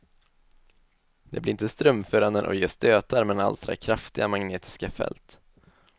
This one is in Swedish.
Det blir inte strömförande och ger stötar men alstrar kraftiga magnetiska fält.